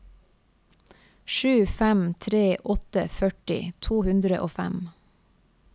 sju fem tre åtte førti to hundre og fem